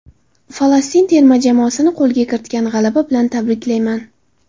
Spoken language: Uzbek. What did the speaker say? Falastin terma jamoasini qo‘lga kiritilgan g‘alaba bilan tabriklayman.